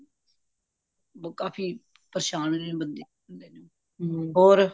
ਕਾਫੀ ਪ ਪਰੇਸ਼ਾਨ ਰਹਿੰਦਾ ਬੰਦਾ ਹੋਰ